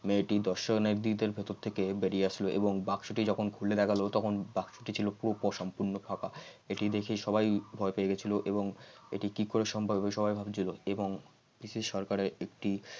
মেয়েটির দর্শকদের ভেতর থেকে বেরিয়ে আসলো এবং বাক্সটি যখন খুলে দেখালে তখন বাক্সটি ছিল পুরোপুরি সম্পন্ন ফাঁকা এটি দেখে সবাই ভয় পেয়ে গেছিল এবং এটি কি করে সম্ভব হবে সবাই ভাবছিলএবং পিসি সরকারের একটি